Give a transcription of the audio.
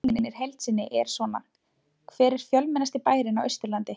Spurningin er heild sinni er svona: Hver er fjölmennasti bærinn á Austurlandi?